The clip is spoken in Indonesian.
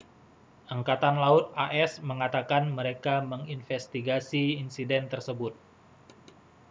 angkatan laut as mengatakan mereka menginvestigasi insiden tersebut